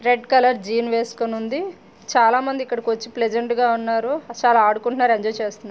Red colour jeans వేసుకుని ఉంది. చాలా మంది ఇక్కడికి వచ్చి ప్రజెంట్ గా ఉన్నారు చాలా ఆడుకుంటున్నారు ఎంజాయ్ చేస్తున్నారు.